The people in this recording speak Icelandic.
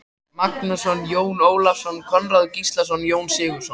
Magnússon, Jón Ólafsson, Konráð Gíslason, Jón Sigurðsson